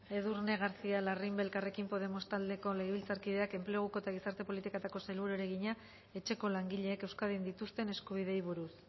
edurne garcía larrimbe elkarrekin podemos taldeko legebiltzarkideak enpleguko eta gizarte politiketako sailburuari egina etxeko langileek euskadin dituzten eskubideei buruz